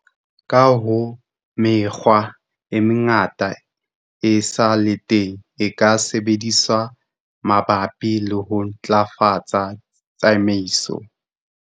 Ka hoo, mekgwa e mengata e sa le teng e ka sebediswang mabapi le ho ntlafatsa tsamaiso.